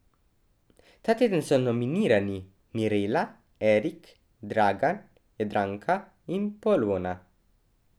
Ta teden so nominirani Mirela, Erik, Dragan, Jadranka in Polona.